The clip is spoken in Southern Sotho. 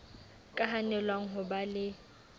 ka hanelwang ho ba le